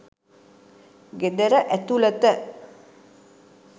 ගෙදර ඇතුළත